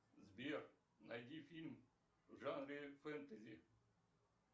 сбер найди фильм в жанре фэнтези